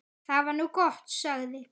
Það var nú gott, sagði